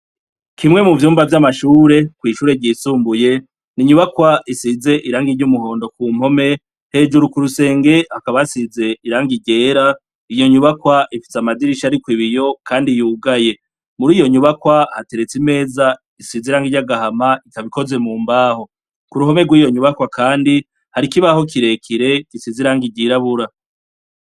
Kimwe mu vyumba vy'amashure kw'ishure ryisumbuye, n'inyubakwa isize irangi ry'umuhondo ku mpome, hejuru ku rusenge hakaba hasize irangi ryera, iyo nyubakwa ifise amadirisha, ariko ibiyo, kandi yugaye, muri iyo nyubakwa hateretse imeza isize irangi ry'agahama ikaba ikoze mu mbaho, ku ruhome rw'iyo nyubakwa kandi hari ikibaho kirekire gisize irangi ryirabura.